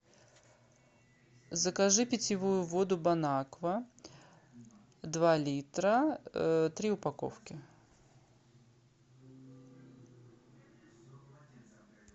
закажи питьевую воду бон аква два литра три упаковки